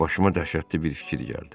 Başıma dəhşətli bir fikir gəldi.